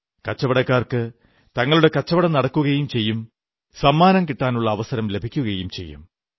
കച്ചവടക്കാർക്ക് തങ്ങളുടെ കച്ചവടം നടക്കുകയും ചെയ്യും സമ്മാനം കിട്ടാനുള്ള അവസരവും ലഭിക്കും